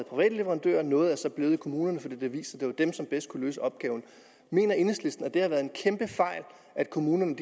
private leverandører og noget er så blevet i kommunerne for det blev vist at det var dem som bedst kunne løse opgaverne mener enhedslisten at det har været en kæmpe fejl at kommunerne